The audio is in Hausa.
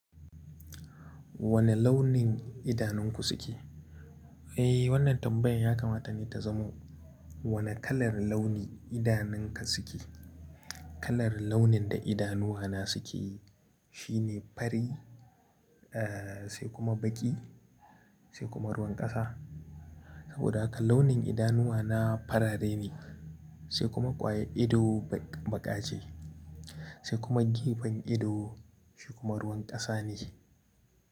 Wane launin idanunku suke? Eh, wannan tambayar ya kamata ni ta zama wane kalar launi idanunka suke. Kalar launin da idanuwa na suke shine fari, eh, sai kuma baƙi sai kuma ruwan ƙasa. Saboda haka launin idanuwa na farare ne, sai kuma ƙwayar ido baƙa ce, sai kuma gefen ido shi kuma ruwan ƙasa ne.